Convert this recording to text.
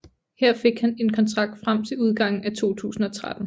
Her fik han en kontrakt frem til udgangen af 2013